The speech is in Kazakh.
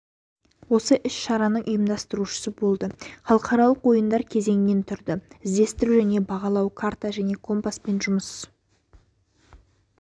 осы іс-шараның ұйымдастырушысы болды халықаралық ойындар кезеңнен тұрды іздестіру және бағдарлау карта және компаспен жұмыс